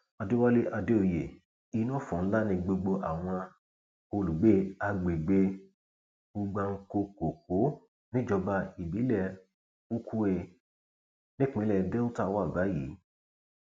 àdẹwálé àdèoyè inú ọfọ ńlá ni gbogbo àwọn olùgbé agbègbè ugbankokòkó níjọba ìbílẹ ukwie nípínlẹ delta wà báyìí